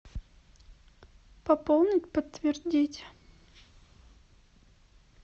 пополнить подтвердить